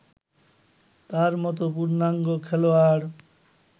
তার মতো পূর্ণাঙ্গ খেলোয়াড়